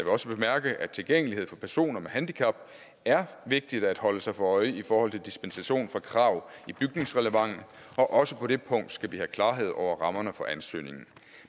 også bemærke at tilgængelighed for personer med handicap er vigtig at holde sig for øje i forhold til dispensation fra krav i bygningsreglementet og også på det punkt skal vi have klarhed over rammerne for ansøgningen